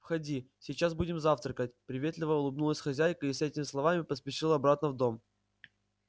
входи сейчас будем завтракать приветливо улыбнулась хозяйка и с этими словами поспешила обратно в дом